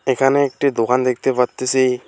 এখানে একটি দোকান দেখতে পারতেসি।